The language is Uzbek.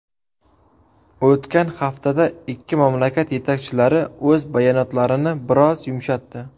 O‘tgan haftada ikki mamlakat yetakchilari o‘z bayonotlarini biroz yumshatdi.